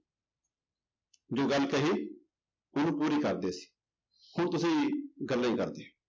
ਜੋ ਗੱਲ ਕਹੀ ਉਹਨੂੰ ਪੂਰੀ ਕਰਦੇ ਸੀ, ਹੁਣ ਤੁਸੀਂ ਗੱਲਾਂ ਹੀ ਕਰਦੇ ਹੋ।